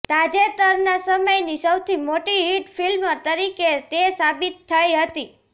તાજેતરના સમયની સૌથી મોટી હિટ ફિલ્મ તરીકે તે સાબિત થઇ હતી